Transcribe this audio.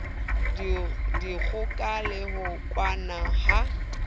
dikgoka le ho kwena ha